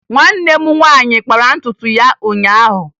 Nwanne m nwaanyị kpara ntutu ya ụnyaahụ